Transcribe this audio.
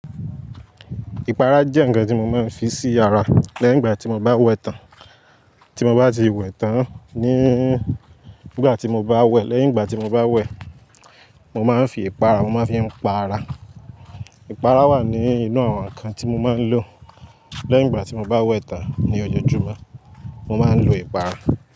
Ìpara jẹ́ ǹkan tí mo máa ń fi sí ara lẹ́yìn ìgbà tí mo bá wẹ̀ tán tí mo bá ti wẹ̀ tán, ní ìgbà tí mo bá wẹ̀, lẹ́yìn ìgbà tí mo bá wẹ̀, mo máa ń fi ìpara mo má a fi ń paara, ìpara wà nínú àwọn ǹkan tí mo máa ń lò. Lẹ́yìn ìgbà tí mo bá wẹ tán ní ojoojúmọ́, mo máa ń lo ìpárá.